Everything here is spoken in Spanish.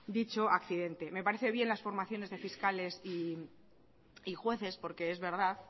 dicho accidente me parece bien las formaciones de fiscales y jueces porque es verdad